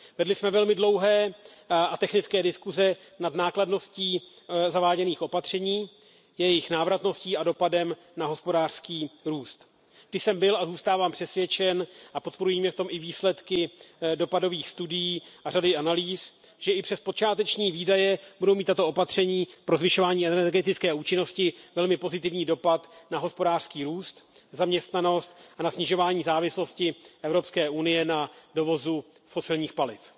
Vedli jsme velmi dlouhé a technické diskuze nad nákladností zaváděných opatření, jejich návratností a dopadem na hospodářský růst. Vždy jsem byl a zůstávám přesvědčen a podporují mě v tom i výsledky dopadových studií a řady analýz, že i přes počáteční výdaje budou mít tato opatření pro zvyšování energetické účinnosti velmi pozitivní dopad na hospodářský růst, zaměstnanost a na snižování závislosti Evropské unie na dovozu fosilních paliv.